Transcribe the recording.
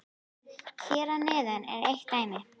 Hér að neðan er eitt dæmi: